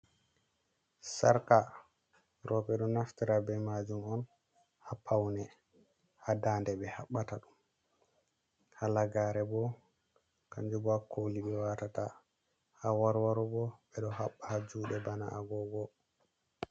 Sarka rowbe ɗo naftira be maajum on, haa pawne. Haa ndaande ɓe haɓɓata ɗum, halagaare bo kanjum bo haa kooli ɓe watata. Awarwaro bo ɓe ɗo haɓɓa haa juuɗe bana agoogo.